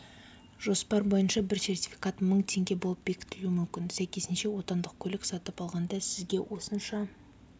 жоспар бойынша бір сертификат мың теңге болып бекітілуі мүмкін сәйкесінше отандық көлік сатып алғанда сізге осынша